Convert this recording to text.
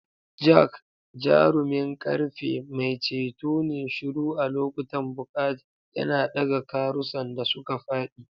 Jack, jarumin ƙarfe, mai ceto ne shiru a lokutan bukata, yana ɗaga karusan da suka faɗi.